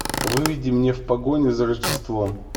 выведи мне в погоне за рождеством